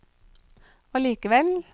allikevel